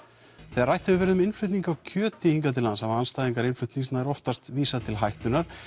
þegar rætt hefur verið um innflutning á kjöti hingað til lands hafa andstæðingar innflutnings nær oftast vísað til hættunnar